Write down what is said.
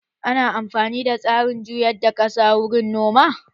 Ana amfani da tsarin juyar da kasa wurin noma